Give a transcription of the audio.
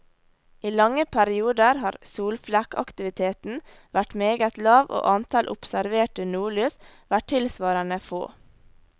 I lange perioder har solflekkaktiviteten vært meget lav og antall observerte nordlys vært tilsvarende få.